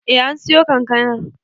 Eh an siyo kankanar